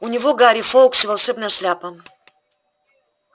у него гарри фоукс и волшебная шляпа